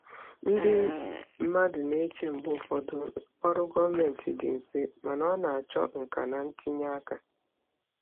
Ndị mmadụ na-eche mgbe ụfọdụ ọrụ gọọmentị dị mfe, mana ọ na-achọ nka na ntinye aka.